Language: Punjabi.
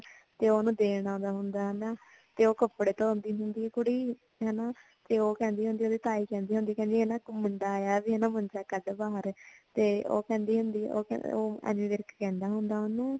ਤੇ ਓਨੁ ਦੇਣ ਆਂਦਾ ਹੁੰਦਾ ਹੈ ਹਨਾ ਤੇ ਓ ਕਪੜੇ ਧੋਂਦੀ ਹੁੰਦੀ ਹੈ ਕੁੜੀ ਹਨਾ ਤੇ ਓ ਕਹਿੰਦੀ ਹੁੰਦੀ ਭੀ ਤਾਈਂ ਕਹਿੰਦੀ ਹੁੰਦੀ ਹੈ ਕਿ ਇੱਕ ਮੁੰਡਾ ਆਯਾ ਵੇ ਨਾ ਮੁੰਡਾ ਕਟ ਦਾ ਹੁੰਦਾ ਹੈ ਤੇ ਓ ਕਹਿੰਦੀ ਹੁੰਦੀ ਹੈ ਓ ਐਮੀ ਵਿਰਕ ਕਹਿਂਦਾ ਹੁੰਦਾ ਓਨੁ